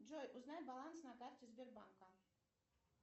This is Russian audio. джой узнай баланс на карте сбербанка